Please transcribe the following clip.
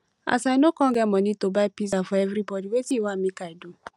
as i no come get money to buy pizza for everybody wetin you wan make i do